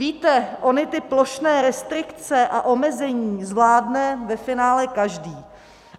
Víte, ony ty plošné restrikce a omezení zvládne ve finále každý.